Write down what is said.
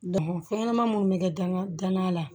fɛn ɲɛnama munnu bɛ kɛ danga danga la